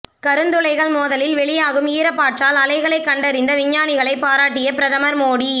கருந்துளைகள் மோதலில் வெளீயாகும் ஈர்ப்பாற்றல் அலைகளை கண்டறிந்த விஞ்ஞானிகளை பாராட்டிய பிரதமர் மோடி